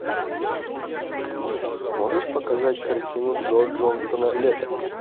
можешь показать картину джо джонстона лето